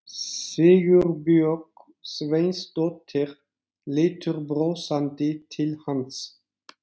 Sigurbjörg Sveinsdóttir lítur brosandi til hans.